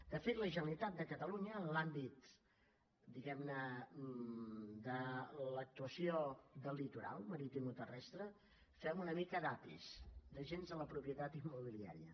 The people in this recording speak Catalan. de fet la generalitat de catalunya en l’àmbit diguem ne de l’actuació del litoral maritimoterrestre fem una mica d’api d’agents de la propietat immobiliària